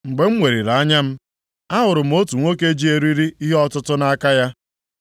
Mgbe m weliri anya m, ahụrụ m otu nwoke ji eriri ihe ọtụtụ nʼaka ya.